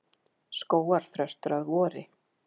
Skógarþröstur að vori.